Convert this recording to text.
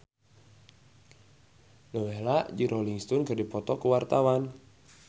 Nowela jeung Rolling Stone keur dipoto ku wartawan